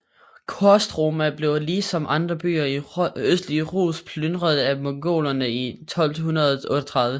Kostroma blev ligesom andre byer i østlige Rus plynret af Mongolerne i 1238